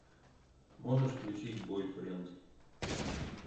можешь включить бойфренд